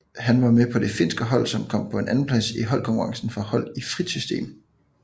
Han var med på det finske hold som kom på en andenplads i holdkonkurrencen for hold i frit system